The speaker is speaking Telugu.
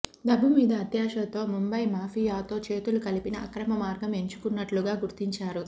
డబ్బు మీద అత్యాశతో ముంబై మాఫియాతో చేతులు కలిపిన అక్రమ మార్గం ఎంచుకున్నట్లుగా గుర్తించారు